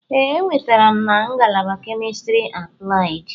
Ee, enwetara m na ngalaba Chemistry Applied.